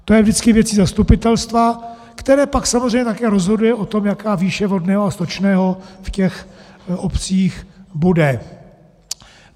To je vždycky věcí zastupitelstva, které pak samozřejmě také rozhoduje o tom, jaká výše vodného a stočného v těch obcích bude.